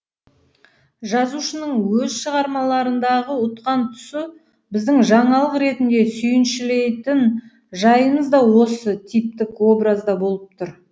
жазушының өз шығармаларындағы ұтқан тұсы біздің жаңалық ретінде сүйіншілейтін жайымыз да осы типтік образда болып тұр